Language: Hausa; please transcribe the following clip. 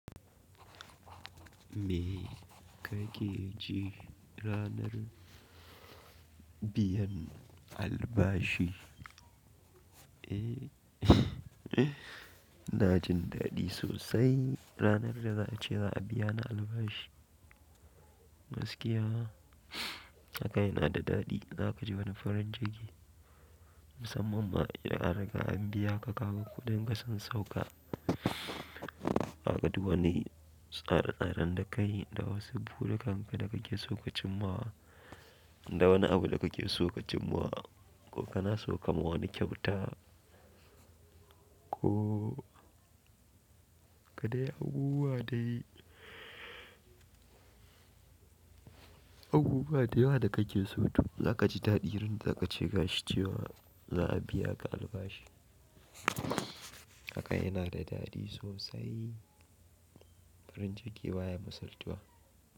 Me kake ji ranar biyan albashi? Eh ina jin daɗi sosai ranar da za a ce za a biya ni albashi. Gaskiya haka yana da daɗi. Za ka ji wani farin jiki musamman ma in a riga an biya ka, ka ga kuɗin ka sun sauka. Za ka duba wani tsare tsaren da kai da wasu buruka da kake so ka cimma da wani abu da kake so ka cimma ko kana son ka ma wani kyauta ko ka dai abubuwa da yawa. Abubuwa da yawa da kake so toh za ka ji daɗi randa akace gashi cewa za'a biyaka albashi. Haka yanada dadi sosai farin ciki baya misaltuwa.